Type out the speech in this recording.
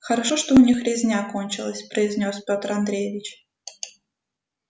хорошо что у них резня кончилась произнёс петр андреевич